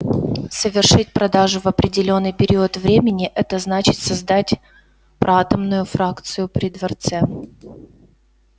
совершить продажу в определённый период времени это значит создать проатомную фракцию при дворце